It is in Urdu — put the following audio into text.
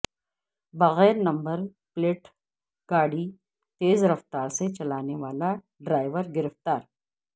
بغیر نمبر پلیٹ گاڑی تیز رفتاری سے چلانے والا ڈرائیور گرفتار